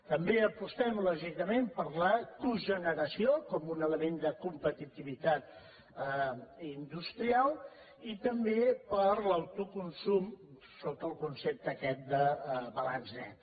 també apostem lògicament per la cogeneració com un element de competitivitat industrial i també per l’autoconsum sota el concepte aquest de balanç net